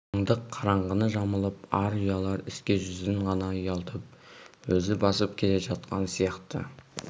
қалыңдық қараңғыны жамылып ар ұялар іске жүзін ғана ұялтып өзі басып келе жатқан сияқты